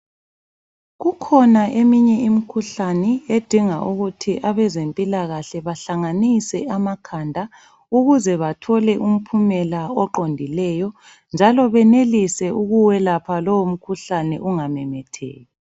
Kukhona eminye imkhuhlane edinga ukuthi abezempilakahle bahlanganise amakhanda, ukuze bathole umphumela oqondileyo. Njalo benelise ukuwelapha lowo mkhuhlane ungamemetheki.